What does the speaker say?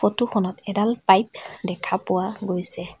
Photo খনত এডাল pipe দেখা পোৱা গৈছে।